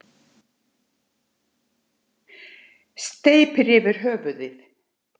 Steypir yfir höfuðið.